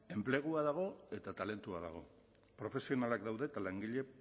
enplegua dago eta talentua dago profesionalak daude eta langile